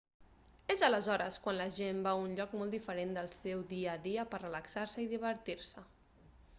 és aleshores quan la gent va a un lloc molt diferent del seu dia a dia per relaxar-se i divertir-se